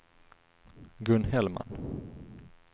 Gun Hellman